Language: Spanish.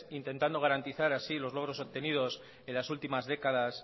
intentando garantizar así los logros obtenidos en las últimas décadas